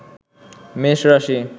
মেষ রাশি